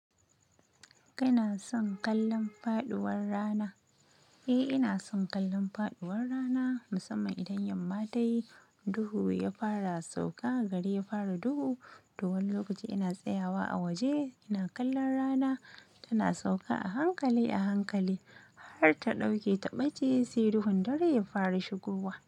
Kana son kallon faɗuwar rana? Eh inason kallon faduwar rana. Musamman idan yamma ta yi, duhu ya fara sauka, gari ya fara duhu, to wani lokaci ina tsayawa a waje ina kallon rana. Tana sauka a hankali a hankali har ta ɗauke ta ɓace sai duhun dare ya fara shigowa.